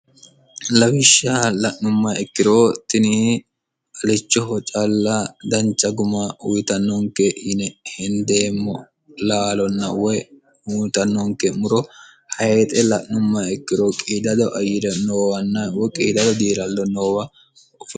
lawishsha la'numma ikkiro tini alichoho calla dancha guma uyitannonke yine hendeemmo laalonna woy uyitannonke muro hayixe la'numma ikkiro qiidado ayire noowanna woy qiidado diillallo noowa biifano.